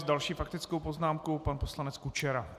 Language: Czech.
S další faktickou poznámkou pan poslanec Kučera.